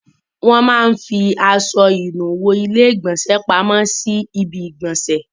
Wọ́n máa ń fi aṣọ ìnuwọ́ ilé-ìgbọ̀nsẹ̀ pamọ́ sí orí ibi-ìgbọ̀nsẹ̀.